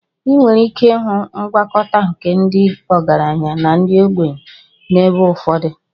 Ị nwere ike ịhụ ngwakọta nke ndị ọgaranya na ndị ogbenye n'ebe ụfọdụ.